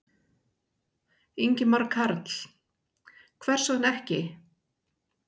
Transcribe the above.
Ingimar Karl: Hvers vegna ekki?